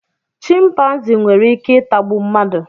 chịmpaizịn nwere Ike itagbu mmadụ